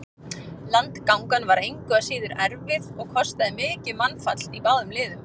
Landgangan var engu að síður erfið og kostaði mikið mannfall í báðum liðum.